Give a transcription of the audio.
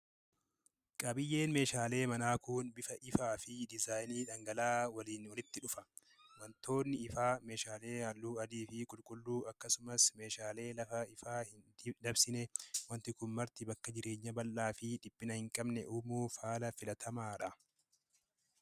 Qabiyyeen meeshaalee manaa kun bifa ifaa fi dizaayinii dhangala'aa waliin walitti dhufa. Wantoonni ifaa meeshaalee halluu adii fi qulqulluu akkasumas meeshaalee lafa ifaa ittii hin dabsinee waanti kun marti bakka jireenya bal'aa fi dhiphina hin qabne uumuuf haala filatamaadha.